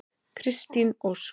Kristín Ósk.